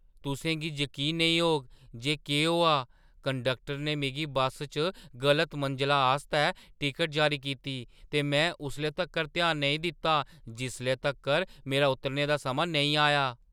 तुसें गी जकीन नेईं होग जे केह् होआ! कंडक्टरै ने मिगी बस्सै च गलत मंजला आस्तै टिकट जारी कीती, ते में उसले तक्कर ध्यान नेईं दित्ता जिसले तक्कर मेरा उतरने दा समां नेईं आया!